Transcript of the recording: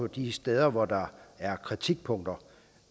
de steder hvor der er kritikpunkter